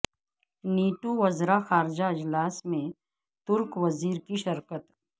NATO وزرا خارجہ اجلاس میں ترک وزیر کی شرکت